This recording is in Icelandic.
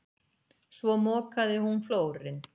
Svo mokaði hún flórinn.